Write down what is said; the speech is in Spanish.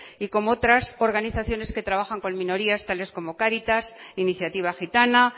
y como otras organizaciones que trabajan con minorías tales como caritas iniciativa gitana